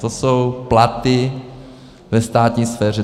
To jsou platy ve státní sféře.